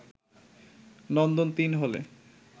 “নন্দন-৩ হলে